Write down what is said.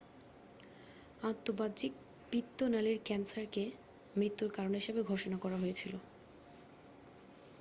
আন্তঃবাহিক পিত্ত নালীর ক্যান্সারকে মৃত্যুর কারণ হিসাবে ঘোষণা করা হয়েছিল